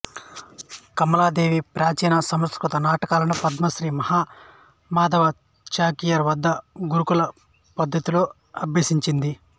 కమలాదేవి ప్రాచీన సంస్కృతనాటకాలను పద్మశ్రీ మహామాధవ చాకియర్ వద్ద గురుకుల పద్ధతిలో అభ్యసించింది